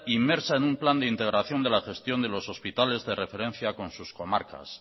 inmersa en un plan de integración de la gestión de los hospitales de referencia con sus comarcas